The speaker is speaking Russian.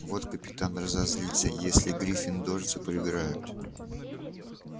вот капитан разозлится если гриффиндорцы проиграют